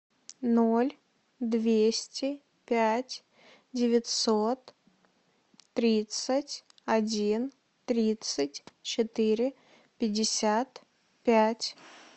ноль двести пять девятьсот тридцать один тридцать четыре пятьдесят пять